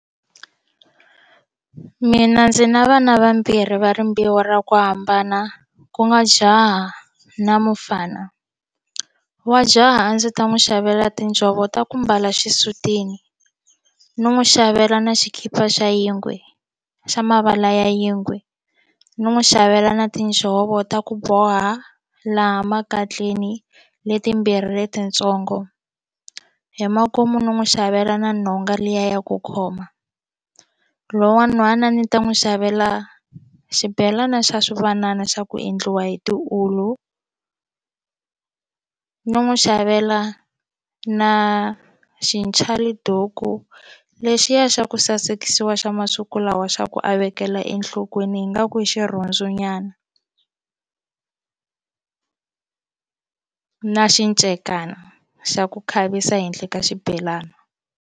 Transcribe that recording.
Mina ndzi na vana vambirhi va rimbewu ra ku hambana ku nga jaha na mufana wa jaha a ndzi ta n'wi xavela tinjhovo ta ku mbala xisutini ni n'wi xavela na xikipa xa yingwe xa mavala ya yingwe ni n'wi xavela na tinjhovo ta ku boha laha makatleni letimbirhi letitsongo hi makumu no n'wi xavela na nhonga liya ya ku khoma lowu wa nhwana a ni ta n'wi xavela xibhelana xa swivanana xa ku endliwa hi tiwulu ni n'wi xavela na xinchaliduku lexiya xa ku sasekisiwa xa masiku lawa xa ku a vekela enhlokweni ingaku i xirhundzu nyana na xinchekana xa ku khavisa ehenhla ka xibhelana.